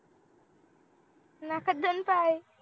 नाकात दोन पाय